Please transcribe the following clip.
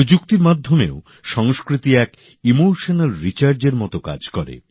প্রযুক্তির মাধ্যমেও সংস্কৃতি আবেগের উদ্দীপনার এক মত কাজ করে